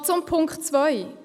Noch zu Punkt 2: